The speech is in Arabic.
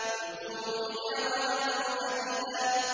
۞ قُلْ كُونُوا حِجَارَةً أَوْ حَدِيدًا